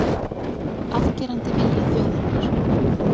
Afgerandi vilji þjóðarinnar